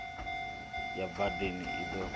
ya badani i ḓo thuthiwa